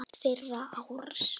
Fyrir árás?